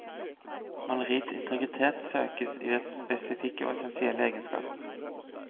Maleriets integritet søkes i dets spesifikke og essensielle egenskaper.